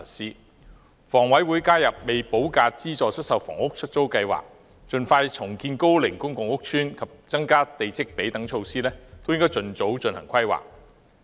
而香港房屋委員會加入"未補價資助出售房屋——出租計劃"、盡快重建高齡公共屋邨及增加地積比率等措施，均應該盡早進行規劃。